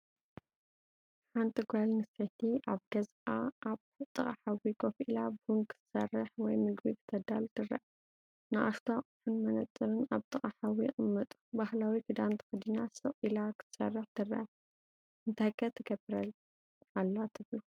ሓንቲ ጓል ኣንስተይቲ ኣብ ገዝኣ ኣብ ጥቓ ሓዊ ኮፍ ኢላ ቡን ክትሰርሕ ወይ መግቢ ከተዳሉ ትርአ። ንኣሽቱ ኣቕሑን መነጽርን ኣብ ጥቓ ሓዊ ይቕመጡ። ባህላዊ ክዳን ተኸዲና ስቕ ኢላ ክትሰርሕ ትረአ። እንታይ ከ ትገብር ኣላ ትብሉ?